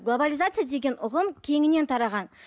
глобализация деген ұғым кеңінен тараған